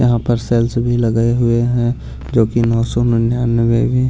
यहां पर सेल्स भी लगाए हुए हैं जो की नौ सौ निन्यानबे में भी--